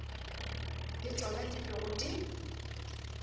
le tšona di bego di